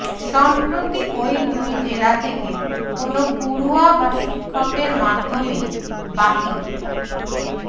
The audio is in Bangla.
সম্প্রতি ওই দুই জেলা থেকে কোনও পড়ুয়া বা শিক্ষকের মাধ্যমেই বাকি